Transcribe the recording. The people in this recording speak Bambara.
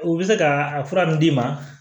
U bɛ se ka a fura min d'i ma